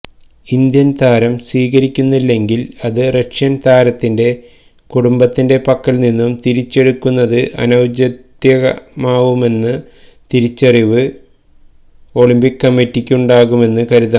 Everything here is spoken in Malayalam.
ഇന്ത്യന് താരം സ്വീകരിക്കുന്നില്ലെങ്കില് അത് റഷ്യന് താരത്തിന്റെ കുടുംബത്തിന്റെ പക്കല് നിന്ന് തിരിച്ചെടുക്കുന്നത് അനൌചിത്വമാകുമെന്ന തിരിച്ചറിവ് ഒളിമ്പിക് കമ്മിറ്റിക്കുണ്ടാകുമെന്ന് കരുതാം